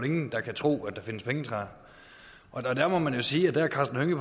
ingen der kan tro at der findes pengetræer og der må man jo sige at herre karsten hønge